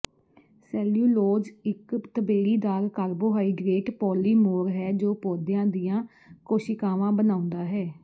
cellulose ਇਕ ਤਬੇੜੀਦਾਰ carbohydrate polymer ਹੈ ਜੋ ਪੌਦਿਆਂ ਦੀਆਂ ਕੋਸ਼ਿਕਾਵਾਂ ਬਣਾਉਂਦਾ ਹੈ